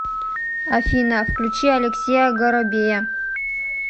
афина включи алексея горобея